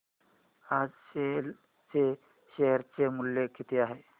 आज सेल चे शेअर चे मूल्य किती आहे